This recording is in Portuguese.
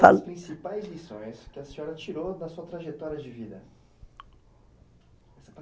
Quais as principais lições que a senhora tirou da sua trajetória de vida?